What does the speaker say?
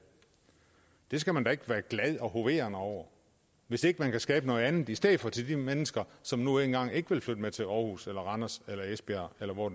det skal man da ikke være glad og hovere over hvis ikke man kan skabe noget andet i stedet for til de mennesker som nu engang ikke vil flytte med til aarhus eller randers eller esbjerg eller hvor